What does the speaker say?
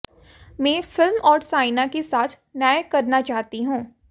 मैं फिल्म और साइना के साथ न्याय करना चाहती हूं